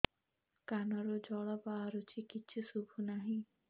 କାନରୁ ଜଳ ବାହାରୁଛି କିଛି ଶୁଭୁ ନାହିଁ